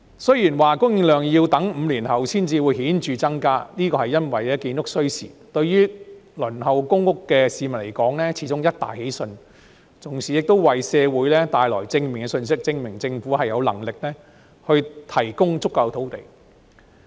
雖然供應量要待5年後才會有顯著增加，因為建築需時，但對輪候公屋的市民而言，始終是一大喜訊，同時為社會帶來正面信息，證明政府有能力提供足夠土地。